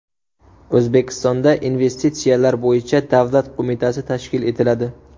O‘zbekistonda Investitsiyalar bo‘yicha davlat qo‘mitasi tashkil etiladi.